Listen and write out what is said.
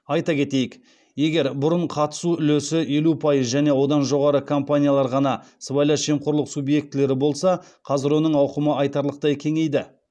айта кетейік егер бұрын қатысу үлесі елу пайыз және одан жоғары компаниялар ғана сыбайлас жемқорлық субъектілері болса қазір оның ауқымы айтарлықтай кеңейді